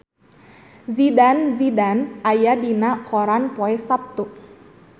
Zidane Zidane aya dina koran poe Saptu